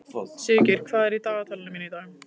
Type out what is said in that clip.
Sigurgeir, hvað er í dagatalinu mínu í dag?